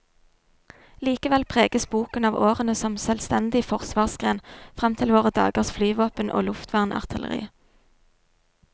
Likevel preges boken av årene som selvstendig forsvarsgren, frem til våre dagers flyvåpen og luftvernartilleri.